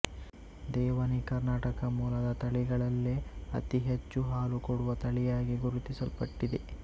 ದೇವನಿ ಕರ್ನಾಟಕ ಮೂಲದ ತಳಿಗಳಲ್ಲೆ ಅತಿ ಹೆಚ್ಚು ಹಾಲು ಕೊಡುವ ತಳಿಯಾಗಿ ಗುರುತಿಸಲ್ಪಟ್ಟಿದೆ